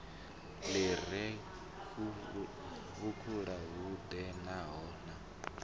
li re vhukule hu edanaho